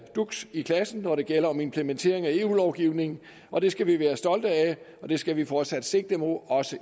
duks i klassen når det gælder om implementering af eu lovgivning og det skal vi være stolte af og det skal vi fortsat sigte mod også